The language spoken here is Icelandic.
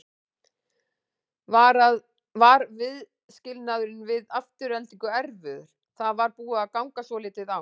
Var viðskilnaðurinn við Aftureldingu erfiður, það var búið að ganga svolítið á?